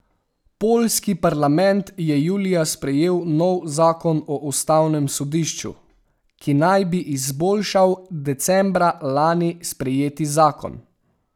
Poljski parlament je julija sprejel nov zakon o ustavnem sodišču, ki naj bi izboljšal decembra lani sprejeti zakon.